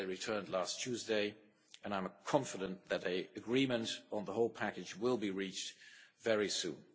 They returned last Tuesday, and I am confident that an agreement on the whole package will be reached very soon.